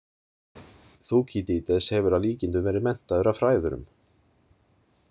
Þúkýdídes hefur að líkindum verið menntaður af fræðurum.